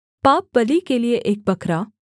पापबलि के लिये एक बकरा